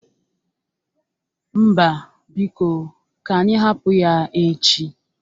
Mba, biko. Ka anyị hapụ ya echi.